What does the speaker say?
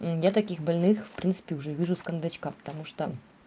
я таких больных в принципе уже вижу с кондачка потому что